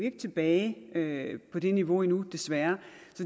ikke tilbage på det niveau endnu desværre